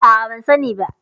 A'a, ban sani ba.